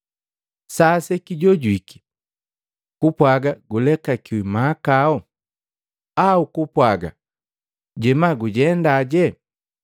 Sa sekijojwiki, kupwaga, ‘Gulekakiwi mahakau,’ au kupwaga, ‘Jema gujendaje?’